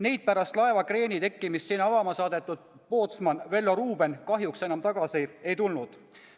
Neid pärast laeva kreeni kaldumist sinna avama saadetud pootsman Vello Ruben kahjuks enam tagasi ei tulnud.